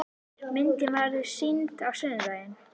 Myndin verður sýnd á sunnudaginn.